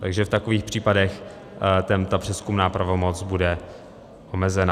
Takže v takových případech ta přezkumná pravomoc bude omezena.